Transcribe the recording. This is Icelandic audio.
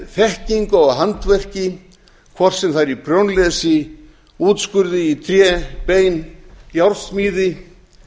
þekkingu á handverki hvort sem það er í prjónlesi útskurði í tré bein járnsmíði